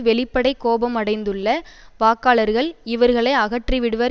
வெளிப்படை கோபமடைந்துள்ள வாக்காளர்கள் இவர்களை அகற்றிவிடுவர்